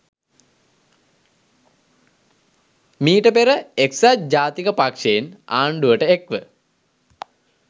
මීට පෙර එක්‌සත් ජාතික පක්‍ෂයෙන් ආණ්‌ඩුවට එක්‌ ව